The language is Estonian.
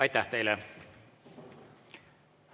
Aitäh teile!